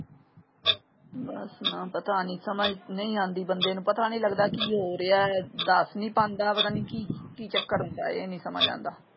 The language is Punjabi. ਬਸ ਨਾ ਪਤਾ ਨਹੀਂ ਸਮਝ ਨਹੀਂ ਆਉਂਦੀ ਬੰਦੇ ਨੂੰ ਪਤਾ ਨਹੀਂ ਲਗਦਾ ਕੀ ਹੋ ਰਿਹਾ ਦੱਸ ਨਹੀਂ ਪਾਂਦਾ ਪਤਾ ਨਹੀਂ ਕਿ ਕੀ ਚੱਕਰ ਹੁੰਦਾ ਏ ਇਹ ਨਹੀਂ ਸਮਝ ਆਉਂਦਾ।